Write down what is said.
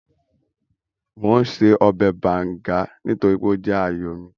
Mò ún ṣe ọbẹ̀ bàùngá nítorí ó jẹ́ ààyò mi